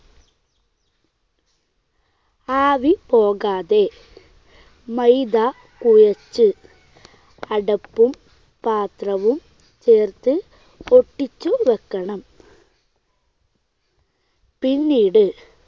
ആവി പോകാതെ മൈദ കുഴച്ച് അടപ്പും പാത്രവും ചേർത്ത് ഒട്ടിച്ചുവെക്കണം. പിന്നീട്